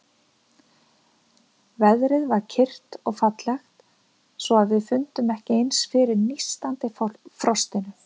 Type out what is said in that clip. Veðrið var kyrrt og fallegt, svo að við fundum ekki eins fyrir nístandi frostinu.